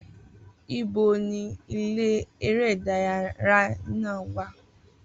Ibo ni ilé eré ìdárayá náà wà?